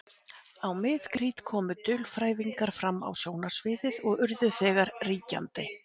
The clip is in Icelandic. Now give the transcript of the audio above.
Á mið-krít komu dulfrævingarnir fram á sjónarsviðið og urðu þegar ríkjandi.